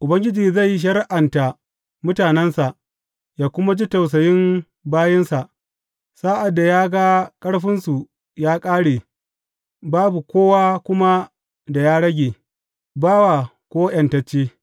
Ubangiji zai shari’anta mutanensa yă kuma ji tausayin bayinsa sa’ad da ya ga ƙarfinsu ya ƙare babu kowa kuma da ya rage, bawa ko ’yantacce.